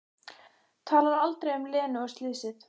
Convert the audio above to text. Talar aldrei um Lenu og slysið.